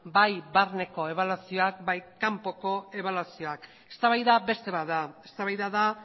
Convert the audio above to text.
bai barneko ebaluazioa bai kanpoko ebaluazioa eztabaida beste bat da eztabaida da